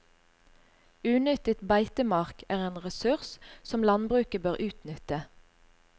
Unyttet beitemark er en ressurs som landbruket bør utnytte.